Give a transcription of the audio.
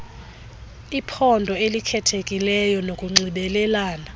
iphondo elikhethekileyo nokunxibelelana